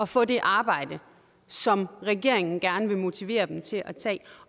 få det arbejde som regeringen gerne vil motivere dem til at tage